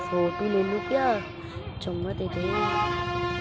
Photo लेली क्या चुम्ममा दे दो।